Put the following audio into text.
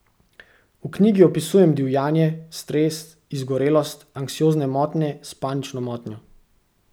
V knjigi opisujem divjanje, stres, izgorelost, anksiozne motnje s panično motnjo.